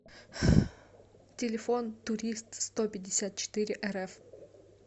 телефон туристстопятьдесятчетыреэрэф